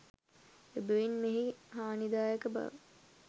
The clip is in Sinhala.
එබැවින් මෙහි හාණිදායක බව